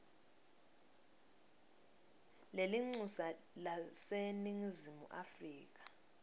lelincusa laseningizimu afrika